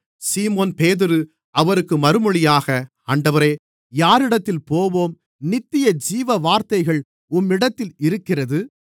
சீமோன்பேதுரு அவருக்கு மறுமொழியாக ஆண்டவரே யாரிடத்தில் போவோம் நித்தியஜீவ வார்த்தைகள் உம்மிடத்தில் இருக்கிறது